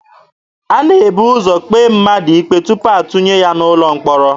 A na-ebu ụzọ kpee mmadụ ikpe tupu atụnye ya n'ụlọ mkpọrọ.